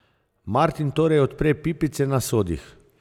Martin torej odpre pipice na sodih ...